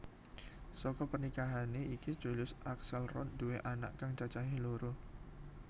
Saka pernikahané iki Julius Axelrod nduwé anak kang cacahé loro